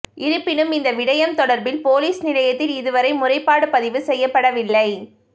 இருப்பினும் இந்த விடயம் தொடர்பில் பொலிஸ் நிலையத்தில் இதுவரை முறைப்பாடு பதிவு செய்யப்படவில்லை